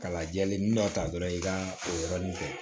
Ka lajɛlen ni dɔ ta dɔrɔn i ka o yɔrɔnin kɛ